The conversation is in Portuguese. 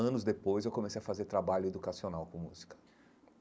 Anos depois, eu comecei a fazer trabalho educacional com música.